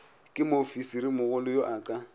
ke moofisirimogolo yo a ka